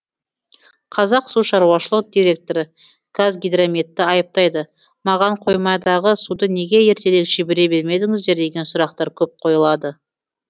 қазақ су шаруашылық директоры қазгидрометті айыптайды маған қоймадағы суды неге ертерек жібере бермедіңіздер деген сұрақтар көп қойылады